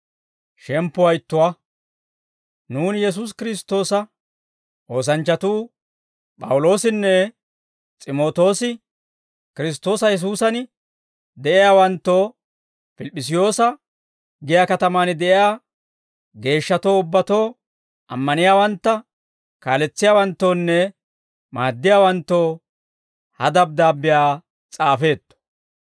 Nuuni Yesuusi Kiristtoosa oosanchchatuu P'awuloosinne S'imootoosi, Kiristtoosa Yesuusan de'iyaawanttoo, Pilip'p'isiyoosa giyaa katamaan de'iyaa geeshshatoo ubbatoo, ammaniyaawantta kaaletsiyaawanttoonne maaddiyaawanttoo ha dabddaabbiyaa s'aafeetto.